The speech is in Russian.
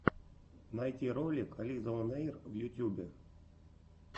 найти ролик лизаонэйр в ютьюбе